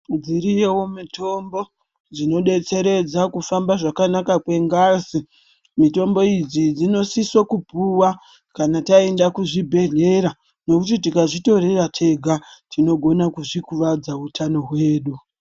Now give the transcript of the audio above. Dziriyo mitombo dzinodetseredza kufamba kwengazi mutombo idzi dzinosisa kupuwa kana taenda kuzvibhedhlera nekuti tikazvitorera tega tinokona kuzvikuvadza hutano hwedu.